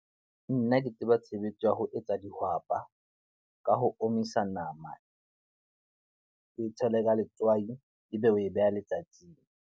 Nna ke tseba tshebetso ya ho etsa dihwapa. Ka ho omisa nama, ke tshele ka letswai e be o e beha letsatsing.